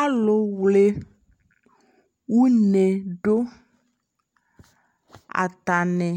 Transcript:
alʋ wlɛ ɔnɛ dʋ, atani